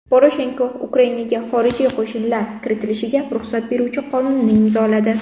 Poroshenko Ukrainaga xorijiy qo‘shinlar kiritilishiga ruxsat beruvchi qonunni imzoladi.